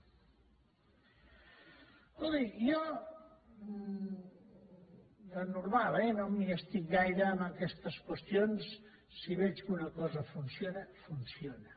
escolti jo de normal eh no m’hi estic gaire amb aquestes qüestions si veig que una cosa funciona funciona